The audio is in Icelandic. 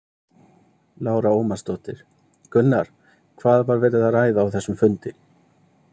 Lára Ómarsdóttir: Gunnar, hvað var verið að ræða á þessum fundi?